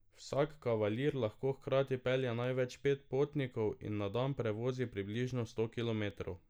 Vsak kavalir lahko hkrati pelje največ pet potnikov in na dan prevozi približno sto kilometrov.